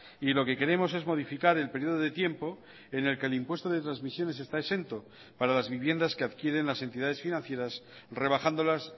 y lo que queremos es modificar el periodo de tiempo en el que el impuesto de transmisiones está exento para las viviendas que adquieren las entidades financieras rebajándolas